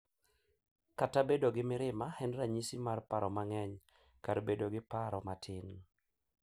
Kata bedo gi mirima en ranyisi mar paro mang’eny, kar bedo gi paro matin,